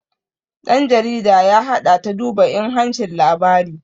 ɗan jarida ya haɗa ta duba inhancin labari